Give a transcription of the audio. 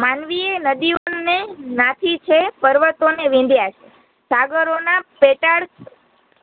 માનવીએ નદીયોને નાથી છે, પર્વતોને વિંદયા છે, સાગરોંના પેટાળ